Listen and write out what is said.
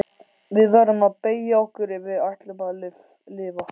Við verðum að beygja okkur ef við ætlum að lifa.